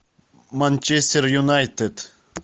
манчестер юнайтед